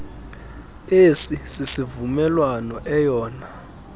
esi sivumelwano eyona